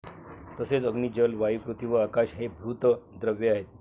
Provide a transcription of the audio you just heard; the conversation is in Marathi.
तसेच अग्नि, जल, वायु, पृथ्वी व आकाश हे भूत द्रव्य आहेत.